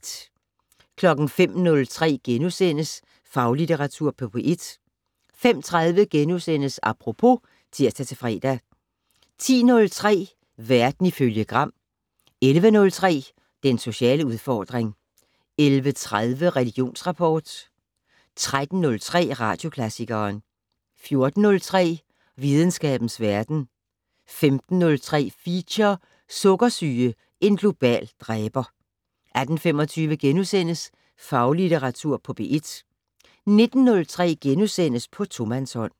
05:03: Faglitteratur på P1 * 05:30: Apropos *(tir-fre) 10:03: Verden ifølge Gram 11:03: Den sociale udfordring 11:30: Religionsrapport 13:03: Radioklassikeren 14:03: Videnskabens Verden 15:03: Feature: Sukkersyge - en global dræber 18:25: Faglitteratur på P1 * 19:03: På tomandshånd *